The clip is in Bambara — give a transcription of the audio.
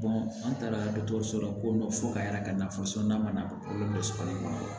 an taara dɔgɔtɔrɔso la ko fo ka yɛrɛ ka nafa ma na o la so kɔnɔ